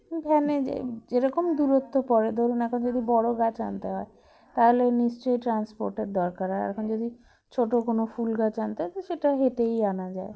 van -এ যাই যেরকম দূরত্ব পড়ে ধরুন এখন যদি বড়ো গাছ আনতে হয় তাহলে নিশ্চয়ই transport এর দরকার হয় এখন যদি ছোটো কোনো ফুলগাছ আনতে হয় তো সেটা হেঁটেই আনা যায়